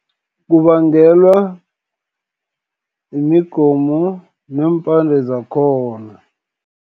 Kubangelwa yimigomo, neempande zakhona.